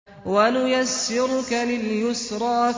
وَنُيَسِّرُكَ لِلْيُسْرَىٰ